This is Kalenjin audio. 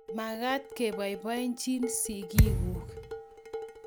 Magaat koboiboichinin sigiiguk